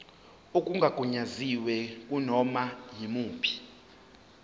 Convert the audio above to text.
okungagunyaziwe kunoma yimuphi